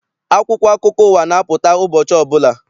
Akwụkwọ akụkọ ụwa na-apụta ụbọchị ọbụla.